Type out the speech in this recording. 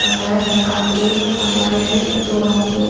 का कलर हल्का green white में दो आदमी है।